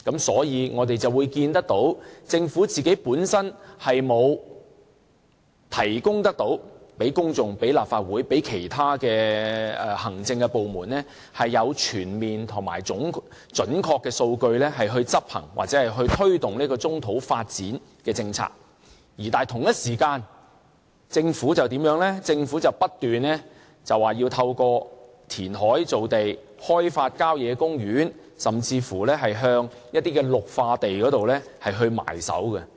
所以，我們可見政府本身沒有向公眾、立法會或其他行政部門提供全面而準確的數據，以執行或推動棕土發展的政策。但是，同一時間，政府卻不斷說要透過填海造地，開發郊野公園，甚至是向一些綠化地"埋手"。